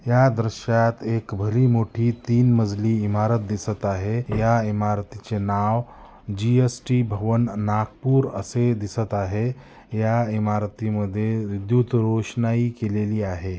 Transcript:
या दृश्यात एक भली मोठी तीन मजली इमारत दिसत आहे या इमारतीचे नाव जी_एस_टी भवन नागपुर असे दिसत आहे या इमारतीमध्ये विद्युत रोशनाई केलेली आहे.